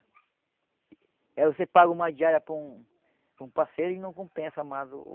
Aí você paga uma diária para um para um parceiro e não compensa mais o...